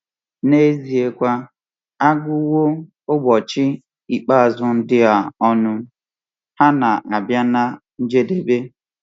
N’eziekwa, a gụwo ụbọchị ikpeazụ ndị a ọnụ; ha na-abịa ná njedebe.